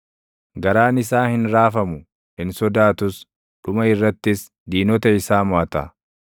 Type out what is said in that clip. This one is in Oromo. Garaan isaa hin raafamu; hin sodaatus; dhuma irrattis diinota isaa moʼata.